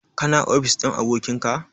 Ka na ofis ɗin abokin ka?